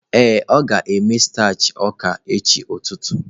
Ee, ọ ga-eme starch ọka echi ụtụtụ.